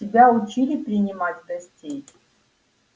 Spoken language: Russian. тебя учили принимать гостей